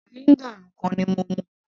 vinegar nìkan ni mo mú